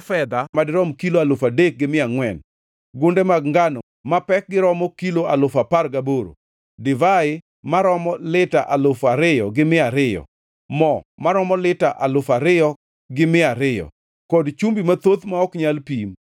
fedha madirom kilo alufu adek gi mia angʼwen, gunde mag ngano ma pek romo kilo alufu apar gaboro, divai maromo lita alufu ariyo gi mia ariyo, mo maromo lita alufu ariyo gi mia ariyo, kod chumbi mathoth ma ok nyal pim.